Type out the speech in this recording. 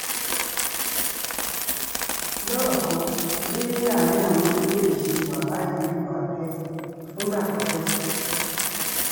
lọ́rọ̀ kan bí àárín àwọn méjèèjì ṣe wà báyìí lè wà bẹ́ẹ̀ fúngbà pípẹ́